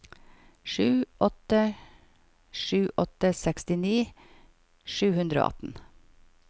sju åtte sju åtte sekstini sju hundre og atten